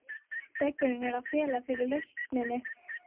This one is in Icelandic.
Steggurinn er að fela fyrir okkur lausnina.